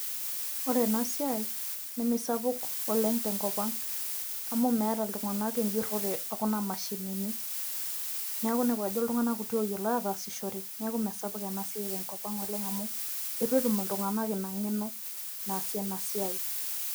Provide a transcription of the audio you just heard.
ore ena siiai neme saouk oleng tenkop ang amu meeta iltunganak ejurore ekuna mashinini. neku inepu ajo iltungank kuti ooyiolo aatasishore, neeku mesapuk ena siiai tenkop ang oleng amu eitu etum iltunganak engeno naasie ena siai.